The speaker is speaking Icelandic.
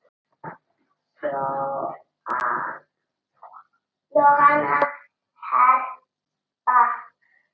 Jóhanna Harpa.